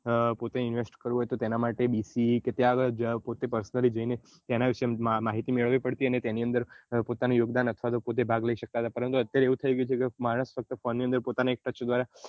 પોતે invest કરવું હોય તેના માટે ત્યાં આગળ પોતે personally જઈને માહિતી લેવી પડતી અને તેની અંદર પોતાનો યોગ દાન અથવા તો પોતે ભાગ લઇ શકતા પરંતુ અત્યારે એવું થઇ ગયું છે માણસ ફક્ત ફોન ની અન્દર પોતાની એક touch